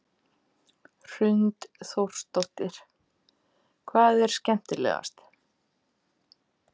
Hrund Þórsdóttir: Hvað er skemmtilegast?